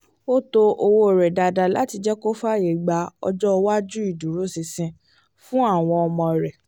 ó tọ́ owó rẹ dáadáa láti jẹ́ kó lè fàyè gba ọjọ́ iwájú ìdúróṣinṣin fún àwọn ọmọ rẹ